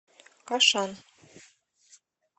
кашан